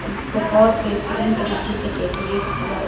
जिस को बहुत बेहतरीन तरीके से डेकोरेट किया हुआ है।